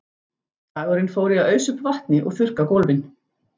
Dagurinn fór í að ausa upp vatni og þurrka gólfin.